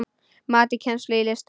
Mat á kennslu í listum